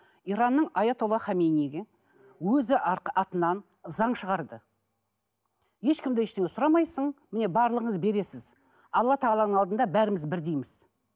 иранның өзі атынан заң шығарды ешкім де ештеңе сұрамайсың міне барлығыңыз бересіз алла тағаланың алдында бәріміз бірдейміз